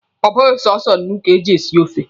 Ọ bụghị sọsọ nnu ka e ji esi ofe.